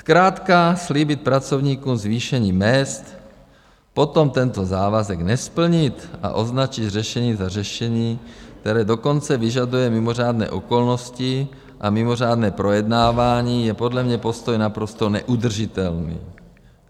Zkrátka slíbit pracovníkům zvýšení mezd, potom tento závazek nesplnit a označit řešení za řešení, které dokonce vyžaduje mimořádné okolnosti a mimořádné projednávání, je podle mě postoj naprosto neudržitelný.